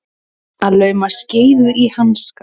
Að lauma skeifu í hanskann